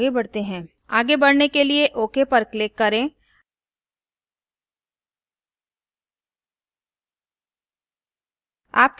आगे बढ़ने के लिए ok पर click करें